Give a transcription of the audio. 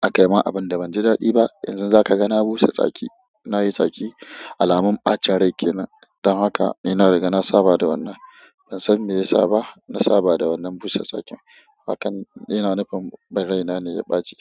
a kai mun abunda banji daɗi ba. Yanzu zaka ga na busa tsaki. Na yi tsaki alamun ɓacin rai kenan. Dan haka nina riga na saba da wannan. Ban san me yasa ba, na saba da wannan busa tsakin. Hakan, yana nufin in raina ne ya ɓaci.